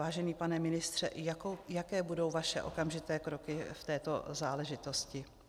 Vážený pane ministře, jaké budou vaše okamžité kroky v této záležitosti?